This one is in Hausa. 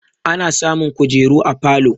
Ana samun kujeru a falo